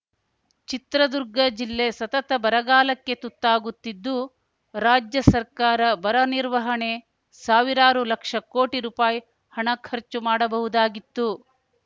ಚಿತ್ರದುರ್ಗ ಜಿಲ್ಲೆ ಸತತ ಬರಗಾಲಕ್ಕೆ ತುತ್ತಾಗುತ್ತಿದ್ದು ರಾಜ್ಯ ಸರ್ಕಾರ ಬರ ನಿರ್ವಹಣೆ ಸಾವಿರಾರು ಲಕ್ಷ ಕೋಟಿ ರುಪಾಯಿ ಹಣ ಖರ್ಚು ಮಾಡಬಹುದಾಗಿತ್ತು